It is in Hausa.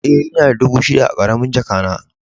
E, ina da dubu shida a karamin jaka na.